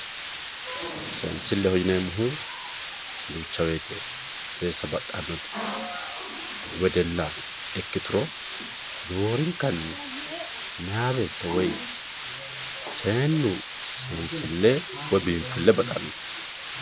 seensilleho yineemmohu duucha woyiite seesa baxxannori wedella ikkituro roorinkanni meyaa beetto woy seennu seensille woy biinfille baxanno.